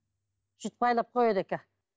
сөйтіп байлап қояды екен